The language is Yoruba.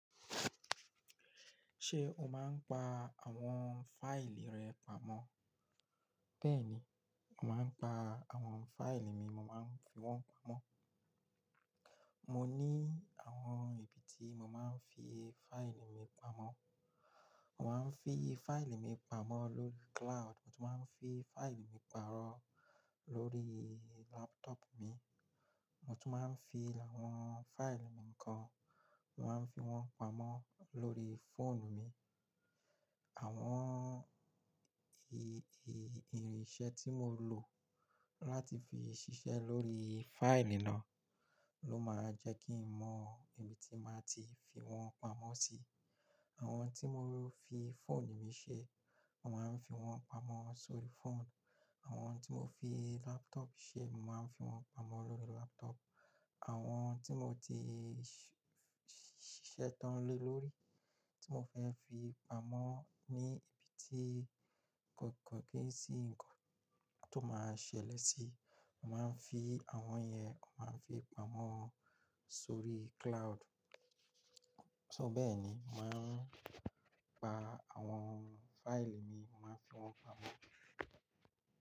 Ṣé o máa ń pa àwọn fáìlì rẹ pamọ́? Bẹ́ẹ̀ni, mo màá ń pa àwọn fáìlì mi, mo máa ń fi wọ́n pamọ́. Mo ní àwọn ibi tí mo máa ń fi fáìlì mi pamọ́. Mo máa ń fi fáìlì mi pamọ́ lórí cloud, mo tún máa ń fi fáìlì mi paarọ̀ lórí laptop mi. Mo tún máa ń fi àwọn fáìlì mi kan, màá fi wọ́n pamọ́ lórí fóònù mi. Àwọn i-i-ìrinṣẹ́ tí mo lò láti fi ṣiṣẹ́ lórí fáìlì náà ló máa ń jẹ́ kí n mọ ibi tí màá ti fi wọ́n pamọ́ sí. Àwọn tí mo fi fóònù mi ṣe, màá ń fi wọ́n pamọ́ sórí fóònù. Àwọn tí mo fi laptop ṣe, màá ń fi wọ́n pamọ́ lórí laptop. Àwọn tí mo ti ṣ-ṣiṣẹ́ tán le lórí tí mo fẹ́ fi pamọ́ ní ibi tí k-kò kí n sí ńǹkan tó máa ṣẹlẹ̀ sí, màá ń fi àwọn yẹn, màá fi pamọ́ sórí cloud. So bẹ́ẹ̀ni, màá ń pa àwọn fáìlì mi, màá fi wọ́n pamọ́.